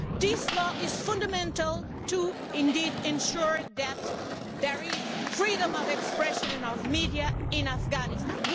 This law is fundamental to ensure that there is freedom of expression and of the media in Afghanistan.